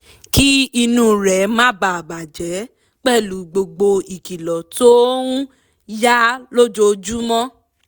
kí inú rẹ̀ má bà a jẹ pẹ̀lú gbogbo ìkìlọ̀ tó ń yá lójoojúmọ́